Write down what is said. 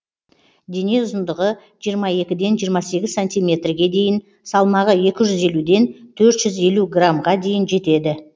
дене ұзындығы жиырма екіден жиырма сегіз сантиметрге дейін салмағы екі жүз елуден төрт жүз елу граммға дейін жетеді